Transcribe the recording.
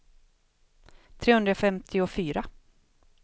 trehundrafemtiofyra